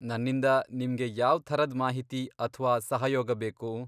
ನನ್ನಿಂದ ನಿಮ್ಗೆ ಯಾವ್ ಥರದ್ ಮಾಹಿತಿ ಅಥ್ವಾ ಸಹಯೋಗ ಬೇಕು?